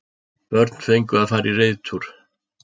Börn fengu að fara í reiðtúr